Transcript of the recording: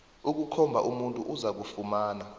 ukukhomba umuntu ozakufumana